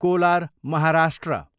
collar, Maharashtra